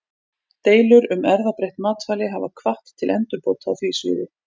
Deilur um erfðabreytt matvæli hafa hvatt til endurbóta á því sviði.